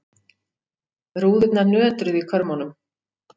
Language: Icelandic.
Rúðurnar nötruðu í körmunum.